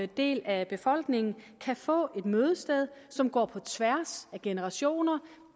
del af befolkningen kan få et mødested som går på tværs af generationer